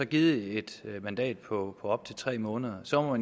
givet et mandat på op til tre måneder og så må